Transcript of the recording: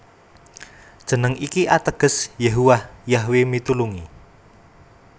Jeneng iki ateges Yehuwah Yahwe mitulungi